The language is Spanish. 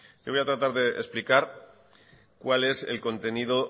le voy a tratar de explicar cuál es el contenido